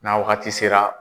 N'a wagati sera.